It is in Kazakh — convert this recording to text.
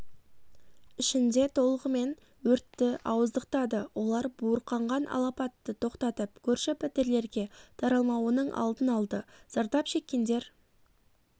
ішінде толғымен өртті ауыздықтады олар буырқанған алапатты тоқтатып көрші пәтерлерге таралмауының алдын алды зардап шеккендер